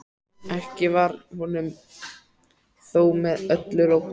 Ekki var honum þó með öllu rótt.